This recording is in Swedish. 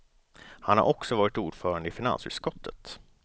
Han har också varit ordförande i finansutskottet.